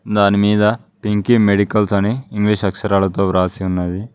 దాని మీద Pinky medicals అని ఇంగ్లీష్ అక్షరాలతో వ్రాసి ఉన్నది.